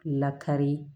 Lakari